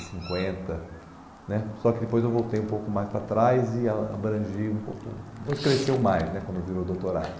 e cinquenta né. Só que depois eu voltei um pouco mais para trás e ãh abrangi um pouco, depois cresceu mais né quando virou doutorado.